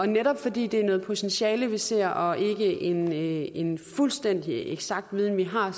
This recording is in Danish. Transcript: netop fordi det er noget potentiale vi ser og ikke er en fuldstændig eksakt viden vi har